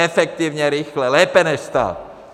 Efektivně, rychle, lépe než stát.